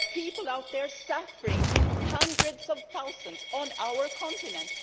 There are people out there suffering in hundreds of thousands on our continent.